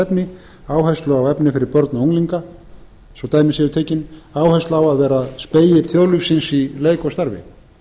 efni áherslu á efni fyrir börn og unglinga svo dæmi séu tekin áherslu á að vera spegill þjóðlífsins í leik og starfi